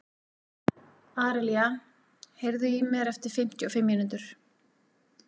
Árelía, heyrðu í mér eftir fimmtíu og fimm mínútur.